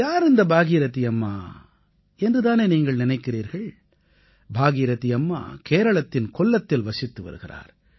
யார் இந்த பாகீரதீ அம்மா என்று தானே நீங்கள் நினைக்கிறீர்கள் பாகீரதீ அம்மா கேரளத்தின் கொல்லத்தில் வசித்து வருகிறார்